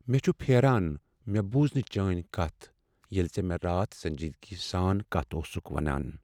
مےٚ چھ پھیران مےٚ بُوز نہٕ چٲنۍ کتھ ییٚلہ ژٕ مےٚ راتھ سنجیدگی سان کتھ اوسکھ ونان۔